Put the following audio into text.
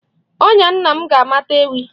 Ọnya nna m ga-amata ewi.